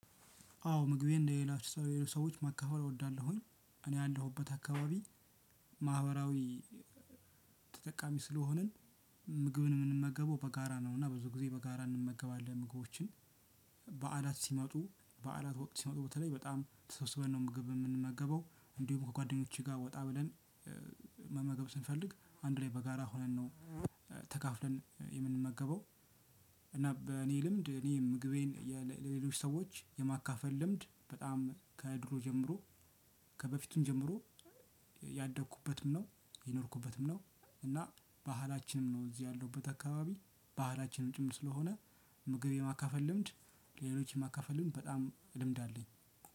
አዎ ምግቤን ለሌላ ሰዎች ማካፈል እወዳለሁኝ እኔ ያለሁበት አካባቢ ማህበራዊ ተጠቃሚ ስለሆንን። ምግብን ምንመገበው በጋራ ነው እና ብዙ ጊዜ በጋራ እንመገባለን ምግቦችን። በዓላት ሲመጡ በዓላት ወቅት ሲመጡ በተለይ በጣም ተሰብስበን ነው ምግብ የምንመገበው እንዲሁም ከጓደኞቼ ጋር ወጣ ብለን እ መመገብ ስንፈልግ አንድ ላይ በጋራ ሆነን ነው። ተካፍለን የምንመገበው። እና በእኔ ልምድ እኔ ምግቤን ለሌሎች ሰዎች የማካፈል ልምድ በጣም ከድሮ ጀምሮ። ከበፊቱም ጀምሮ ያደግኩበትም ነው የኖርኩበትም ነው እና ባህላችንም ነው። እዚህ ያለሁበት አካባቢ ባህላችንም ጭምር ስለሆነ ምግብ የማካፈል ልምድ ለሌሎች ማካፈል ልምድ በጣም ልምድ አለኝ።